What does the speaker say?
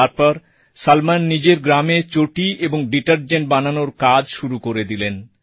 তারপর সলমন নিজের গ্রামে চটি ও ডিটেরজেন্ট বানানোর কাজ শুরু করে দিলেন